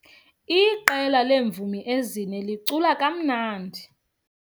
Iqela leemvumi ezine licula kamnandi.